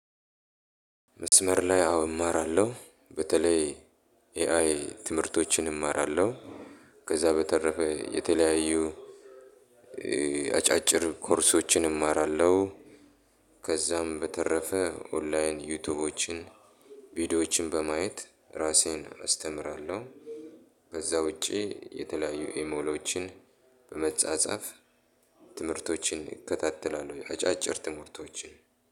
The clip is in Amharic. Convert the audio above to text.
መስመር ላይ አዎ እማራለሁ በተለይ ኤአይ ትምህርቶችን እማራለሁ። ከዛ በተረፈ የተለያዩ አጫጭር ኮርሶችን እማራለሁ። ከዛም በተረፈ ኦንላይን ዩቲዩብን ቪዲዮዎችን በማየት ራሴን አስተምራለሁ። ከዛ ውጪ የተለያዩ ኤሚሎችን በመጻጻፍ ትምህርቶችን እከታተላሉ አጫጭር ትምህርቶችን።